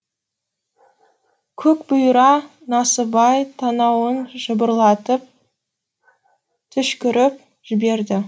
көкбұйра насыбай танауын жыбырлатып түшкіріп жіберді